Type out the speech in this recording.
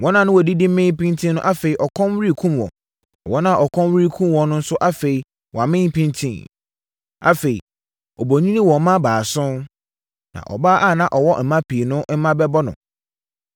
Wɔn a na wɔdidi mee pintinn no afei ɔkɔm rekum wɔn. Na wɔn a ɔkɔm rekum wɔn no nso afei wɔamee pintinn. Afei, obonini wɔ mma baason, na ɔbaa a na ɔwɔ mma pii no mma bɛbɔ no.